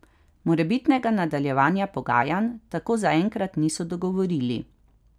Morebitnega nadaljevanja pogajanj tako zaenkrat niso dogovorili.